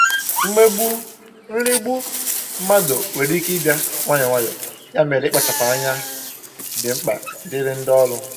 mmegbu/nrigbu mmadụ nwere ike ịbịa nwayọọ nwayọọ, ya mere, ịkpachapụ anya dị mkpa dịrị ndị ọrụ.